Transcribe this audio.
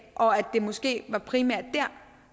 og at det måske primært